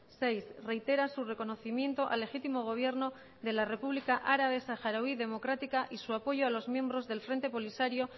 seis reitera su reconocimiento al legítimo gobierno de la república árabe saharaui democrática y su apoyo a los miembros del frente polisario